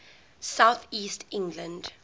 south east england